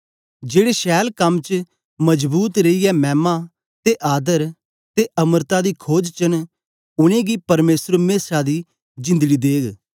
जेड़े छैल कम च मजबूत रेईयै मैमा ते आदर ते अमरता दी खोज च न उनेंगी परमेसर मेशा दी जिंदड़ी देग